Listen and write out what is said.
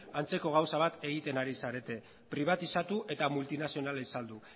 antzeko gauza bat egiten ari zarete pribatizatu eta multinazionalen saldu